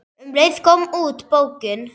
Um leið kom út bókin